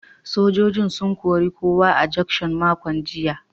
Sojojin sun kori kowa a juction makon jiya.